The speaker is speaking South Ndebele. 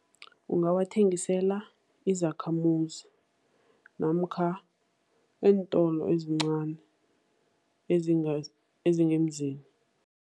Ungawathengisela izakhamuzi namkha eentolo ezincani, ezingemzini.